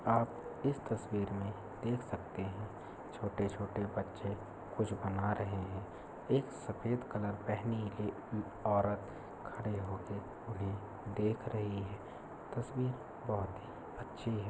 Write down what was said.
आप इस तस्वीर में देख सकते हैं। छोटे-छोटे बच्चे कुछ बना रहे हैं। एक सफेद कलर पहनी ही औरत खड़ी होकर उन्हें देख रही है। तस्वीर बहुत ही अच्छी है।